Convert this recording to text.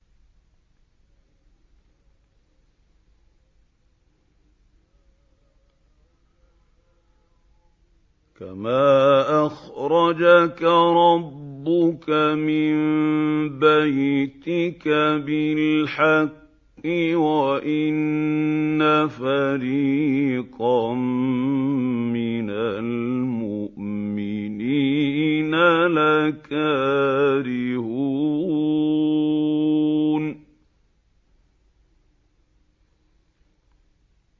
كَمَا أَخْرَجَكَ رَبُّكَ مِن بَيْتِكَ بِالْحَقِّ وَإِنَّ فَرِيقًا مِّنَ الْمُؤْمِنِينَ لَكَارِهُونَ